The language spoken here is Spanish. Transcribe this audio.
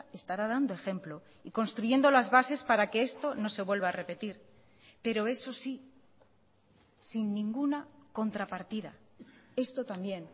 estará dando ejemplo y construyendo las bases para que esto no se vuelva a repetir pero eso sí sin ninguna contrapartida esto también